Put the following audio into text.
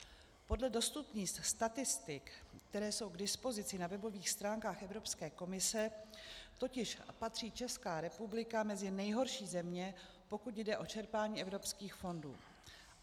Podle dostupných statistik, které jsou k dispozici na webových stránkách Evropské komise, totiž patří Česká republika mezi nejhorší země, pokud jde o čerpání evropských fondů.